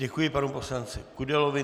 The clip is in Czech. Děkuji panu poslanci Kudelovi.